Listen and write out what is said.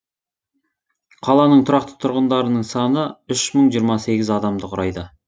қаланың тұрақты тұрғындарының саны үш мың жиырма сегіз адамды құрайды